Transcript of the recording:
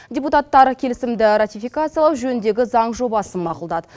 депутаттар келісімді ратификациялау жөніндегі заң жобасын мақұлдады